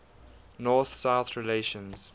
north south relations